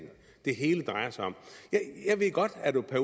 det hele drejer sig om jeg ved godt at